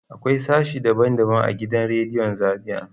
Akwai sashe daban daban a gidan radiyon Zariya.